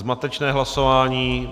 Zmatečné hlasování.